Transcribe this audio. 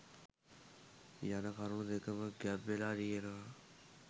යන කරුණු දෙකම ගැබ් වෙලා තියෙනවා